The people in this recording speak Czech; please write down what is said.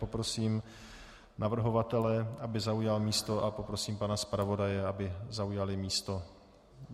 Poprosím navrhovatele, aby zaujal místo, a poprosím pana zpravodaje, aby zaujal místo.